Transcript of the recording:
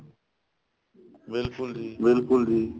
ਬਿਲਕੁਲ ਜੀ ਬਿਲਕੁਲ ਜੀ